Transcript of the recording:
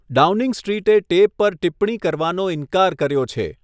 Downing સ્ટ્રીટે tape પર ટિપ્પણી કરવાનો ઇનકાર કર્યો છે.